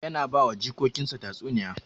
Yana ba wa jikokin sa tatsuniya